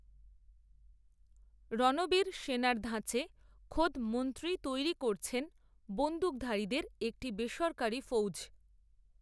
রণবীর সেনার ধাঁচে খোদ মন্ত্রীই তৈরি করছেন, বন্দুকধারীদের, একটি বেসরকারি ফৌজ